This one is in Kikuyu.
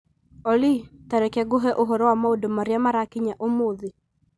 Olly, ta reke ngũhe ũhoro wa maũndũ marĩa marakinya ũmũthĩ.